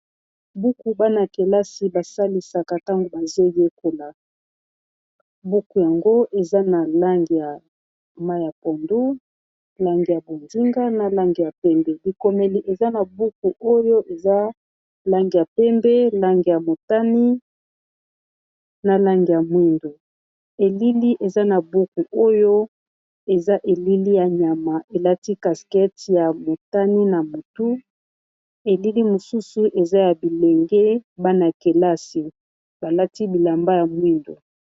Buku bana kelasi basalisaka ntango bazoyekola buku yango eza na lange ya mai ya pondu lange ya bondinga na lange ya pembe likomeli eza na buku oyo eza lange ya pembe lange ya motani na lange ya mwindu elili eza na buku oyo eza elili ya nyama elati caskete ya motani na motu elili mosusu eza ya bilenge bana kelasi balati bilamba ya mwindu.